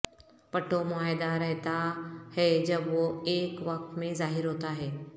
پٹھوں معاہدہ رہتا ہے جب وہ ایک وقت میں ظاہر ہوتا ہے